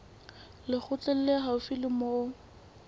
lekgotleng le haufi le moo